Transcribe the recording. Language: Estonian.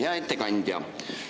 Hea ettekandja!